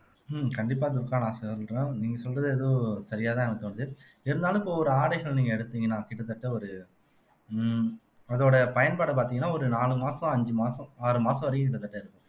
உம் கண்டிப்பா துர்கா நான் சொல்ற நீங்க சொல்றது ஏதோ சரியாதான் எனக்குத் தோணுது இருந்தாலும் இப்ப ஒரு ஆடைகள் நீங்க எடுத்தீங்கன்னா கிட்டத்தட்ட ஒரு உம் அதோட பயன்பாடு பாத்தீங்கன்னா ஒரு நாலு மாசம் அஞ்சு மாசம் ஆறு மாசம் வரைக்கும் கிட்டத்தட்ட இருக்கும்